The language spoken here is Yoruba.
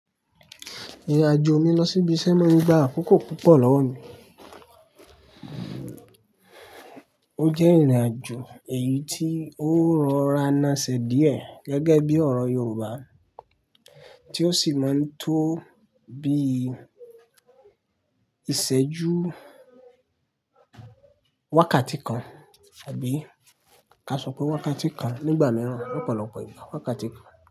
Ìrìnàjò mi lọ sí ibise maa ń gba àkókò púpọ̀ lọ́wọ́ mi. Ó jé ìrìnàjò èyí tí o rora na esè die gege bi òrò Yórùbá ti o si maa ń tó bi ìséjú wákàtí kan abi ka so pe wákàtí kan nigba miiran lopolopo ìgbà. Wákàtí kan.